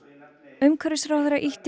umhverfisráðherra ýtti